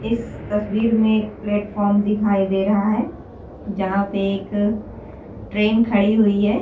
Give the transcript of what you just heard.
इस तस्वीर में एक प्लेटफार्म दिखाई दे रहा है जहां पे एक ट्रेन खड़ी हुई है।